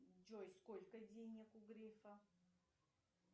джой сколько денег у грефа